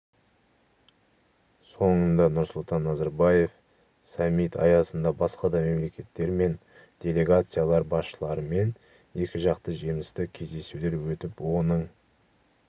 соңында нұрсұлтан назарбаев саммит аясында басқа да мемлекеттер мен делегациялар басшыларымен екіжақты жемісті кездесулер өтіп оның